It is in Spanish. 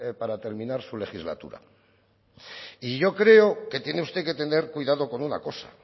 para terminar su legislatura y yo creo que tiene usted que tener cuidado con una cosa